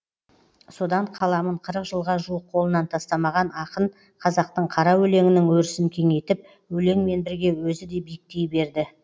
содан қаламын қырық жылға жуық қолынан тастамаған ақын қазақтың қара өлеңінің өрісін кеңейтіп өлеңмен бірге өзі де биіктей берді